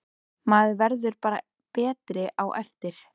Maður verður bara betri á eftir.